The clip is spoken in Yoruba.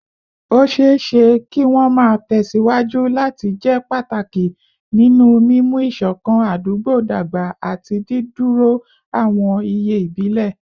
Ó ṣeé ṣe kí wọ́n máa tẹ̀ síwájú láti jẹ́ pàtàkì nínú mímú ìṣọ̀kan àdúgbò dàgbà àti dídúró àwọn iye ìbílẹ̀